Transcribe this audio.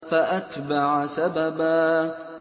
فَأَتْبَعَ سَبَبًا